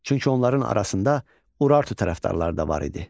Çünki onların arasında Urartu tərəfdarları da var idi.